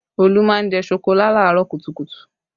Olu má ń jẹ́ ṣokolá làárọ̀ kùtùkùtù